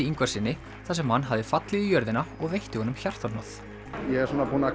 Ingvarssyni þar sem hann hafði fallið í jörðina og veitti honum hjartahnoð ég er svona